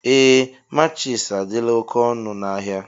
Ee matchis adịla oké ọnụ n'ahia.